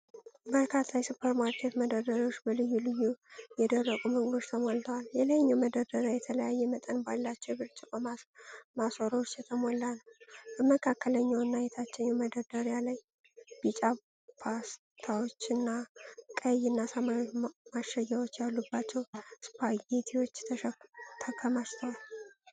በርካታ የሱፐርማርኬት መደርደሪያዎች በልዩ ልዩ የደረቁ ምግቦች ተሞልተዋል። የላይኛው መደርደሪያ የተለያየ መጠን ባላቸው የብርጭቆ ማሰሮዎች የተሞላ ነው። በመካከለኛው እና የታችኛው መደርደሪያ ላይ ቢጫ ፓስታዎች፣ ቀይ እና ሰማያዊ ማሸጊያዎች ያሉባቸው ስፓጌቲዎች ተከማችተዋል።